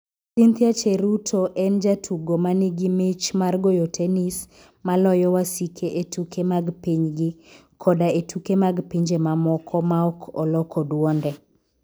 Kendo Cynthia Cheruto en jatugo ma nigi mich mar goyo tenis ma loyo wasike e tuke mag pinygi koda e tuke mag pinje mamoko maok oloko dwonde.